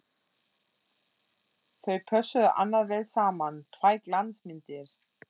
Þau pössuðu annars vel saman, tvær glansmyndir!